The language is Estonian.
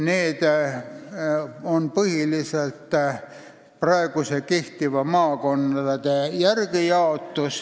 See jaotus on põhiliselt tehtud kehtivate maakonnapiiride järgi.